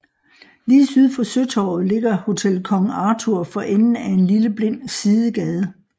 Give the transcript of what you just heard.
Lige syd for Søtorvet ligger Hotel Kong Arthur for enden af en lille blind sidegade